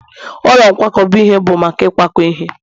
ụlọ nkwakọba ihe bụ maka ịkwakọ ihe